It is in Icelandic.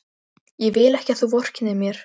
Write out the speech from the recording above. Ég vil ekki að þú vorkennir mér.